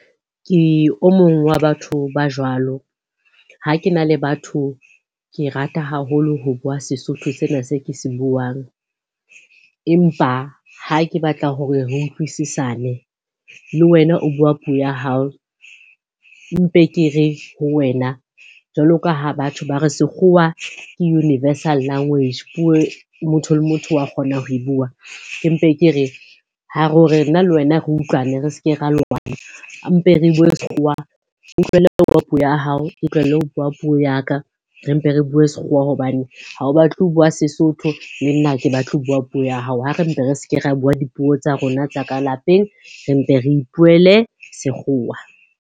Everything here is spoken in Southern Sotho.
Ke o mong wa batho ba jwalo. Ha ke na le batho ke rata haholo ho bua Sesotho sena se ke se buang. Empa ha ke batla hore re utlwisisane, le wena o bua puo ya hao. Mpe ke re ho wena jwalo ka ha batho ba re sekgowa ke universal language motho le motho wa kgona ho e bua. Ke mpe ke re, hore nna le wena re utlwane, re se ke ra lwana, mpe re bue sekgowa. Bua puo ya hao, ke tlohele ho bua puo ya ka. Re mpe re bue sekgowa hobane ha o batle ho bua Sesotho le nna ha ke batle ho bua puo ya hao. Ha re mpe re se ke ra bua dipuo tsa rona tsa ka lapeng, re mpe re ipuele sekgowa.